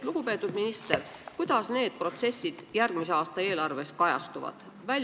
Lugupeetud minister, kuidas need protsessid järgmise aasta eelarves kajastuvad?